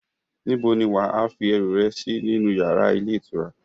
Níbo ni wà á fi ẹrú rẹ sí nínu yàrá ilé ìtura?